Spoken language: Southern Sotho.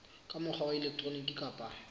ka mokgwa wa elektroniki kapa